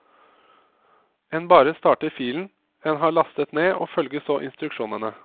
En bare starter filen en har lastet ned og følger så instruksjonene.